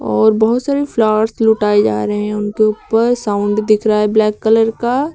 और बहुत सारी फ्लावर्स लुटाए जा रहे हैं उनके ऊपर साउंड दिख रहा है ब्लैक कलर का।